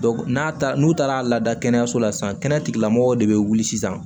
n'a taara n'u taara lada kɛnɛyaso la sisan kɛnɛyatigilamɔgɔw de bɛ wuli sisan